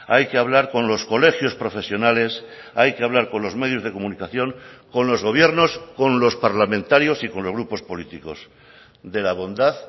hay que hablar con los colegios profesionales hay que hablar con los medios de comunicación con los gobiernos con los parlamentarios y con los grupos políticos de la bondad